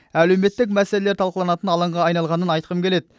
әлеуметтік мәселелер талқыланатын алаңға айналғанын айтқым келеді